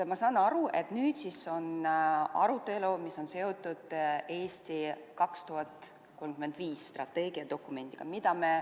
Ma saan aru, et nüüd on arutelu, mis on seotud "Eesti 2035" strateegiadokumendiga.